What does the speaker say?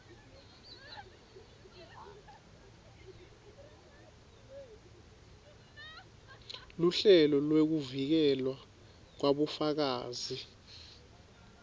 luhlelo lwekuvikelwa kwabofakazi